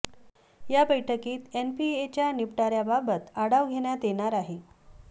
या बैठकीत एनपीएच्या निपटऱ्याबाबत आढाव घेण्यात येणार आहे